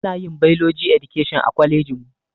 Anayin bailoji edikeshin a kwalejinmu